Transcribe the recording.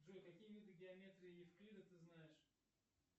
джой какие виды геометрии евклида ты знаешь